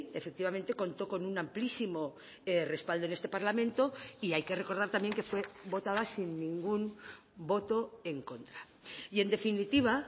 efectivamente contó con un amplísimo respaldo en este parlamento y hay que recordar también que fue votada sin ningún voto en contra y en definitiva